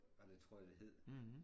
Var det tror jeg det hed